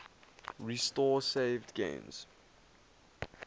restore saved games